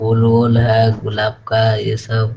फूल-उल है गुलाब का है ये सब।